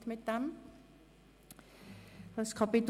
– Das ist der Fall.